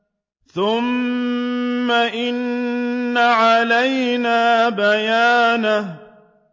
ثُمَّ إِنَّ عَلَيْنَا بَيَانَهُ